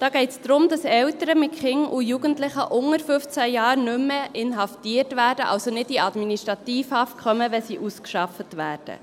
Dabei geht es darum, dass Eltern mit Kindern und Jugendlichen unter 15 Jahren nicht mehr inhaftiert werden, also nicht in Administrativhaft kommen, wenn sie ausgeschafft werden.